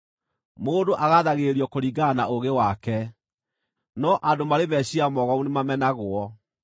Mũndũ agaathagĩrĩrio kũringana na ũũgĩ wake, no andũ marĩ meciiria mogomu nĩmamenagwo.